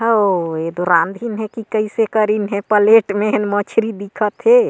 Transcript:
ओ एतो रांधीन है की कइसे करिन हे की पलेट मे हेन मछली दिखत है।